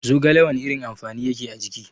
Zogale wana irin amfani yake a jiki?